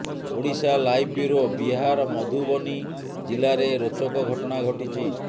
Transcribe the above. Odisha live bureau Bihar Madhubani ଜିଲ୍ଲାରେ ରୋଚକ ଘଟଣା ଘଟିଛି